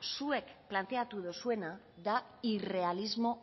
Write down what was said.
zuek planteatu duzuena da irrealismo